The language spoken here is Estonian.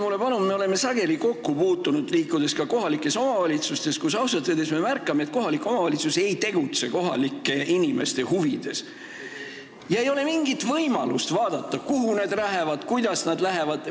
Me oleme sageli kokku puutunud sellega, et kohalik omavalitsus ei tegutse kohalike inimeste huvides – ei ole mingit võimalust vaadata, kuhu nad lähevad või kuidas nad lähevad.